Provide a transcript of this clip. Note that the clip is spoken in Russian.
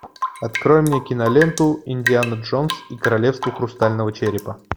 открой мне киноленту индиана джонс и королевство хрустального черепа